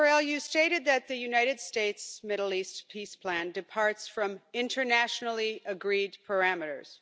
Mr Borrell, you stated that the United States Middle East peace plan departs from internationally agreed parameters.